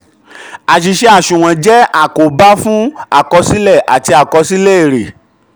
àṣìṣe aṣunwon jẹ́ àkóbá fún àkọsílẹ um àti àkọsílẹ èrè.